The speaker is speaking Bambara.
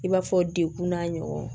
I b'a fɔ dekun n'a ɲɔgɔn